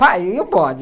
Pai, e o bode?